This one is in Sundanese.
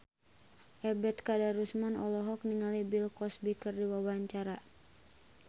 Ebet Kadarusman olohok ningali Bill Cosby keur diwawancara